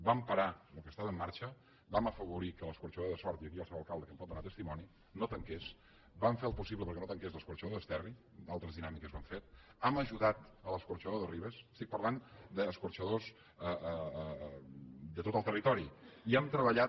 vam parar el que estava en marxa vam afavorir que l’escorxador de sort i aquí hi ha el seu alcalde que en pot donar testimoni no tanqués vam fer el possible perquè no tanqués l’escorxador d’esterri altres dinàmiques ho han fet hem ajudat l’escorxador de ribes estic parlant d’escorxadors de tot el territori i hem treballat